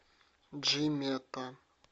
джимета